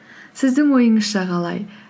сіздің ойыңызша қалай